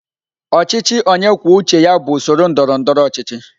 Ọchịchị onye kwuo uche ya bụ usoro ndọrọ ndọrọ ọchịchị.